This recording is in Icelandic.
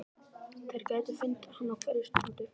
Þeir gætu fundið hana á hverri stundu.